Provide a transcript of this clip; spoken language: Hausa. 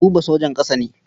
Buba sojan ƙasa ne.